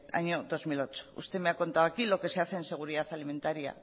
año dos mil ocho usted me ha contado aquí lo que se hace en seguridad alimentaria